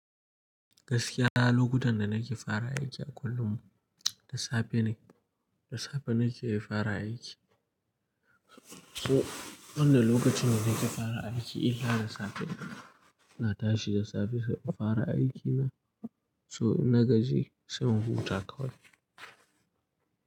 Gaskiya, lokutan da nake fara aiki a kullum, da safe nake, da safe nake fara aiki. So wanda lokacin da nake fara aiki illa da safe. Na tashi da safe saboda fara aiki na so na gaji sai mun huta kawai.